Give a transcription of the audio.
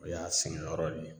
O y'a sɛgɛn yɔrɔ le ye